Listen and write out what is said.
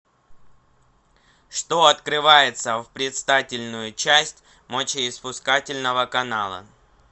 что открывается в предстательную часть мочеиспускательного канала